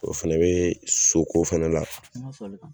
o Fɛnɛ be so balo togo fɛnɛ la